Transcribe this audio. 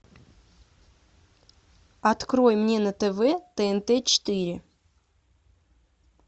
открой мне на тв тнт четыре